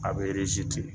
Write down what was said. A bɛ ten